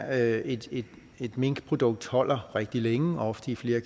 at et et minkprodukt holder rigtig længe ofte i flere